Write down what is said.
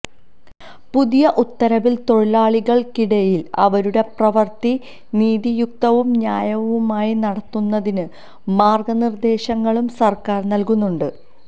പുതിയ ഉത്തരവില് തൊഴിലാളികള്ക്കിടയില് അവരുടെ പ്രവര്ത്തി നീതിയുക്തവും ന്യായവുമായി നടത്തുന്നതിന് മാര്ഗനിര്ദേശങ്ങളും സര്ക്കാര് നല്കുന്നുണ്ട്